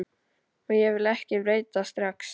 Og ég vil ekki breytast strax.